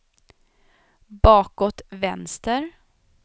bakåt vänster